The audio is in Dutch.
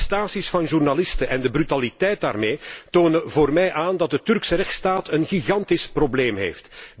Arrestaties van journalisten en de brutaliteit daarbij tonen voor mij aan dat de Turkse rechtsstaat een gigantisch probleem heeft.